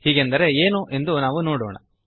ಹೀಗೆಂದರೆ ಏನು ಎಂದು ನಾವು ನೋಡೋಣ